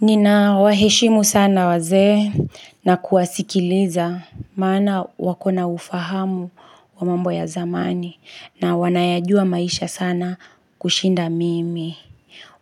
Ninawaheshimu sana wazee na kuwasikiliza maana wako na ufahamu wa mambo ya zamani na wanayajua maisha sana kushinda mimi.